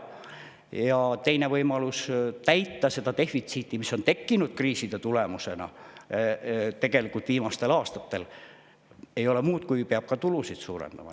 Ja teine võimalus katta seda defitsiiti, mis on viimastel aastatel kriiside tulemusena tekkinud, ei ole muu, kui peab tulusid suurendama.